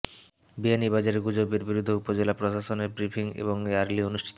বিয়ানীবাজারে গুজবের বিরুদ্ধে উপজেলা প্রশাসনের ব্রিফিং ও র্যালি অনুষ্ঠিত